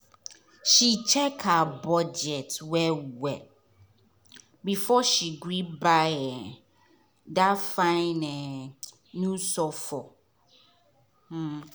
she check her budget well well before she gree buy um that fine um new sofo. um